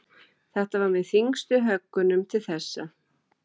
Þetta var með þyngstu höggunum til þessa.